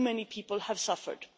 too many people have suffered.